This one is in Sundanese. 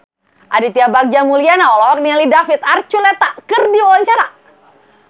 Aditya Bagja Mulyana olohok ningali David Archuletta keur diwawancara